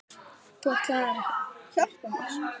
Þú ætlaðir að hjálpa mér.